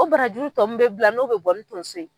O barajuru tɔ min bɛ bila n'o bɛ bɔ ni tonso ye.